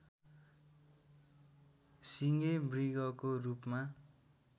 सिङे मृगको रूपमा